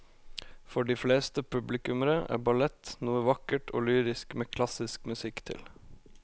For de fleste publikummere er ballett noe vakkert og lyrisk med klassisk musikk til.